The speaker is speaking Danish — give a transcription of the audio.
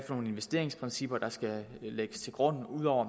for nogle investeringsprincipper der skal lægges til grund ud over